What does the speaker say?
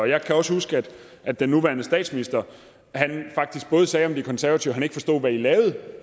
jeg kan også huske at den nuværende statsminister sagde om de konservative at han ikke forstod hvad de lavede